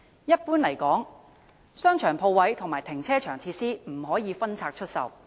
一般而言，商場鋪位和停車場設施不可分拆出售。